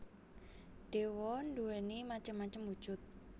Dewa nduwéni macem macem wujud